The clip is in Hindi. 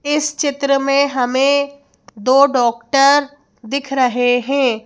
इस चित्र में हमें दो डॉक्टर दिख रहे हैं।